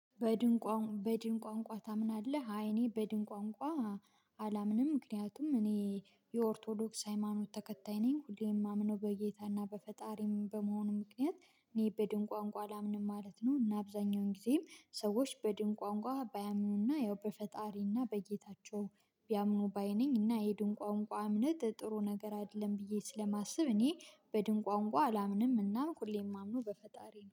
በድንቋ በድን ቋንቋ ታምናለህ? አይ እኔ በድን ቋንቋ አላምንም ምክንያቱም እኔ የኦርቶዶክስ ሃይማኖት ተከታይ ነኝ። ሁሌም የማምነው በጌታና በፈጣሪም በመሆኑም ምክንያት እኔ በድን ቋንቋ አላምንም ማለት ነው። እና አብዛኛውን ጊዜም ሰዎች በድን ቋንቋ ባያምኑና ያው በፈጣሪና በጌታቸው ቢያምኑ ባይ ነኝና የድን ቋንቋ እምነት ጥሩ ነገር አይደለም ብዬ ስለማስብ እኔ በድን ቋንቋ አላምንም እና ሁሌ የማምነውው በፈጣሪ ነው።